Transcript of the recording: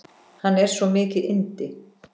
Hann er svo mikið yndi.